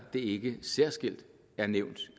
ikke særskilt er nævnt